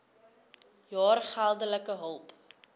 jaar geldelike hulp